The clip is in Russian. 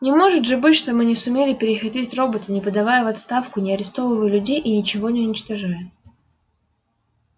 не может же быть чтобы мы не сумели перехитрить робота не подавая в отставку не арестовывая людей и ничего не уничтожая